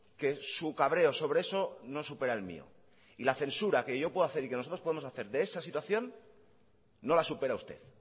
que su cabreo sobre eso no supera el mío y la censura que yo puedo hacer y que nosotros podemos hacer de esa situación no la supera usted